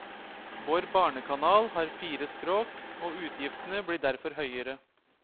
Vår barnekanal har fire språk, og utgiftene blir derfor høyere.